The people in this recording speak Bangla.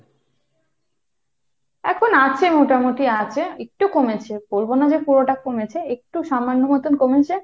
এখন আছে মোটামুটি আছে। একটু কমেছে, বলব না যে পুরোটা কমেছে। একটু সামান্য মত কমেছে।